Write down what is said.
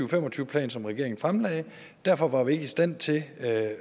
og fem og tyve plan som regeringen fremlagde derfor var vi så ikke i stand til at